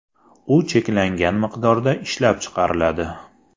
U cheklangan miqdorda ishlab chiqariladi.